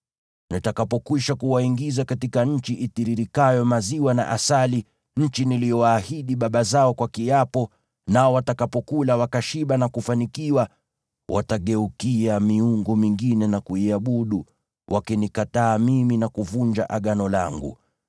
Nitakapokwisha kuwaingiza katika nchi itiririkayo maziwa na asali, nchi niliyowaahidi baba zao kwa kiapo, nao watakapokula wakashiba na kufanikiwa, watageukia miungu mingine na kuiabudu, wakinikataa mimi na kuvunja Agano langu.